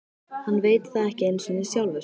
Hann veit það ekki einu sinni sjálfur.